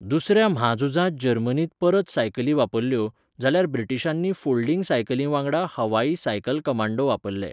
दुसऱ्या म्हाझुजांत जर्मनीन परत सायकली वापरल्यो, जाल्यार ब्रिटीशांनी फोल्डिंग सायकलींवांगडा हवाई 'सायकल कमांडो' वापरले.